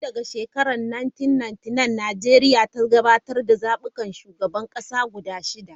Tun daga shekarar 1999, Najeriya ta gudanar da zabukan shugaban kasa guda shida.